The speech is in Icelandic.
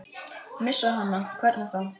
Missa hana, hvernig þá?